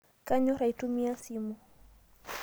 Kanyor aitumiai simu